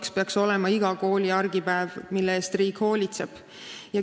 See peaks olema iga kooli argipäev, mille eest riik hoolitseb.